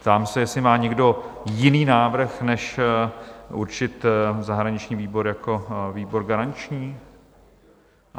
Ptám se, jestli má někdo jiný návrh než určit zahraniční výbor jako výbor garanční?